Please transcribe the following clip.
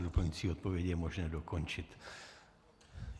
V doplňující odpovědi je možné dokončit.